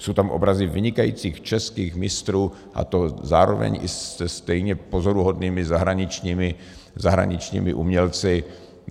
Jsou tam obrazy vynikajících českých mistrů, a to zároveň i se stejně pozoruhodnými zahraničními umělci.